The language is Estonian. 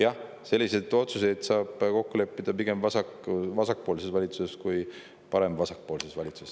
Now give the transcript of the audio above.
Jah, selliseid otsuseid saab kokku leppida pigem vasakpoolses valitsuses kui parem-vasakpoolses valitsuses.